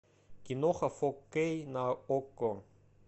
киноха фо кей на окко